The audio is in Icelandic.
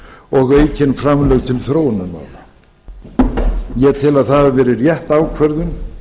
og aukin framlög til þróunarmála ég tel að það hafi verið rétt ákvörðun